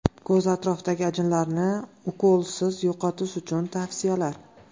Ko‘z atrofidagi ajinlarni ukolsiz yo‘qotish uchun tavsiyalar.